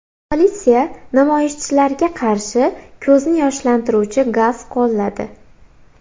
Politsiya namoyishchilarga qarshi ko‘zni yoshlantiruvchi gaz qo‘lladi.